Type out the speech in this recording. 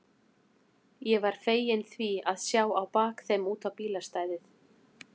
Ég var feginn því að sjá á bak þeim út á bílastæðið.